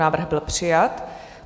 Návrh byl přijat.